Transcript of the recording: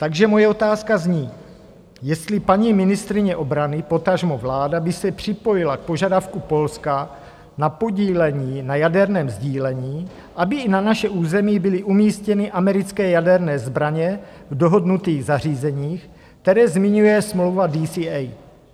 Takže moje otázka zní, jestli paní ministryně obrany, potažmo vláda, by se připojila k požadavku Polska na podílení na jaderném sdílení, aby i na naše území byly umístěny americké jaderné zbraně v dohodnutých zařízeních, která zmiňuje smlouva DCA.